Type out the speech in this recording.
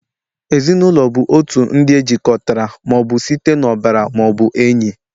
Ezinụlọ bụ otu ndị e jikọtara ma ọ bụ site n'ọbara ma ọ bụ enyi